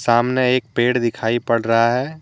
सामने एक पेड़ दिखाई पड़ रहा है।